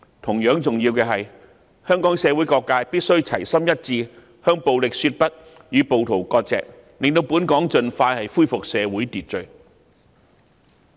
同樣重要的是，香港社會各界必須齊心一致，向暴力說不，與暴徒割席，讓香港盡快恢復社會秩序。